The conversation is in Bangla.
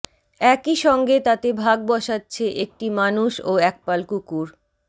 একই সঙ্গে তাতে ভাগ বসাচ্ছে একটি মানুষ ও একপাল কুকুর